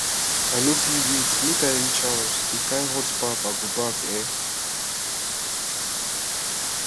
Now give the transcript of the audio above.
i no go fit wait make i reach house the kin hot baff i go baff eh